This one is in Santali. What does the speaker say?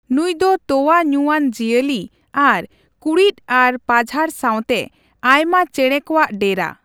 ᱱᱩᱭ ᱫᱚ ᱛᱳᱣᱟ ᱧᱩ ᱟᱱ ᱡᱤᱭᱟᱹᱞᱤ ᱟᱨ ᱠᱩᱲᱤᱫ ᱟᱨ ᱯᱟᱡᱷᱟᱲ ᱥᱟᱣᱛᱮ ᱟᱭᱢᱟ ᱪᱮᱸᱬᱮᱸ ᱠᱚᱣᱟᱜ ᱰᱮᱨᱟ᱾